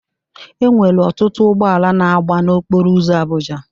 Enwere ọtụtụ ụgbọala na agba na okporo ụzọ Abụja.